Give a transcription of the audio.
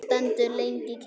Stendur lengi kyrr.